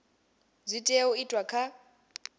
dzi tea u itwa kha